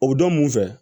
O bɛ don mun fɛ